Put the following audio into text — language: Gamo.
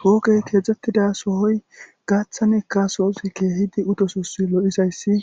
hoogey kexettida sohoy gaththanikka sohoti keehidi utosusi lo7izayssi